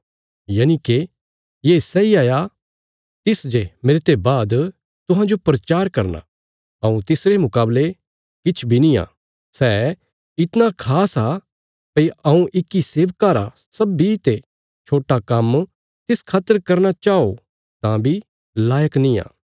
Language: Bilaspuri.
यनिके ये सैई हाया तिस जे मेरते बाद तुहांजो प्रचार करना हऊँ तिसरे मुकावले किछ बी नींआ सै इतणा खास आ भई हऊँ इक्की सेवका रा सब्बीं ते छोट्टा काम्म तिस खातर करना चाओ तां बी लायक नींआ